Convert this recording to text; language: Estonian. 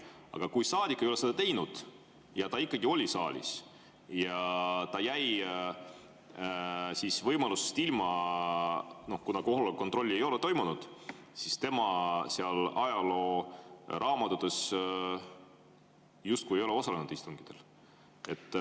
Aga kui saadik ei ole seda teinud, ta oli saalis ja jäi võimalustest ilma, kuna kohaloleku kontrolli ei ole toimunud, siis ajalooraamatute järgi ta justkui ei ole osalenud istungitel.